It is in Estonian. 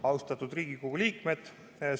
Austatud Riigikogu liikmed!